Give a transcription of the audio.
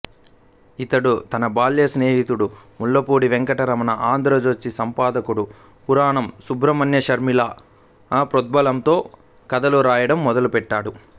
ఇతడు తన బాల్య స్నేహితుడు ముళ్లపూడి వెంకటరమణ ఆంధ్రజ్యోతి సంపాదకుడు పురాణం సుబ్రహ్మణ్యశర్మల ప్రోద్బలంతో కథలు వ్రాయడం మొదలుపెట్టాడు